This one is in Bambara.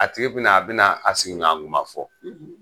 A tigi bina a bina a sigiɲɔan kuma fɔ